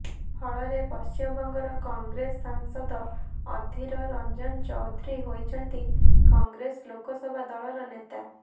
ଫଳରେ ପଶ୍ଚିମବଙ୍ଗର କଂଗ୍ରେସ ସାଂସଦ ଅଧୀର ରଞ୍ଜନ ଚୌଧୁରୀ ହୋଇଛନ୍ତି କଂଗ୍ରେସ ଲୋକସଭା ଦଳର ନେତା